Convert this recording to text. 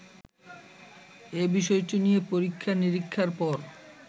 এবিষয়টি নিয়ে পরীক্ষা নীরিক্ষার পর